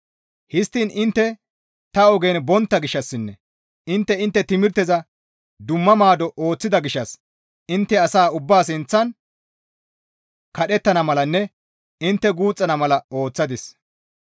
Histtiin intte ta ogen bontta gishshassinne intte intte timirteza dumma maado ooththida gishshas intte asa ubbaa sinththan kadhettana malanne intte guuxxana malata ooththadis.